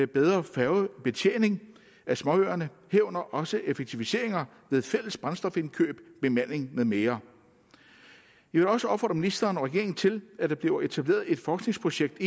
bedre færgebetjening af småøerne herunder også effektiviseringer ved fælles brændstofindkøb bemanding med mere jeg vil også opfordre ministeren og regeringen til at der bliver etableret et forskningsprojekt